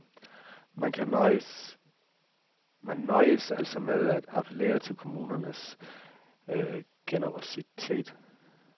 Man nøjedes altså med at appellere til kommunernes generositet.